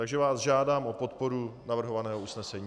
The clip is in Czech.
Takže vás žádám o podporu navrhovaného usnesení.